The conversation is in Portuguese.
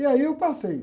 E aí eu passei.